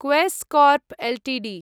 Quess Corp Ltd